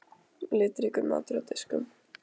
Litríkur matur á diskum.